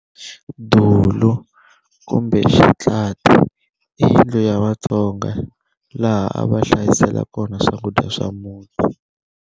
Dulu, "kumbe Xitlati", i yindlu ya vatsonga laha a va hlayisela kona swakudya swa muti.